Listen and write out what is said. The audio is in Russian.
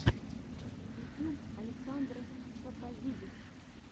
ютьюб александрос тсопозидис